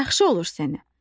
Yaxşı olur sənə.